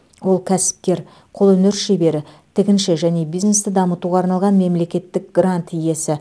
ол кәсіпкер қолөнер шебері тігінші және бизнесті дамытуға арналған мемлекеттік грант иесі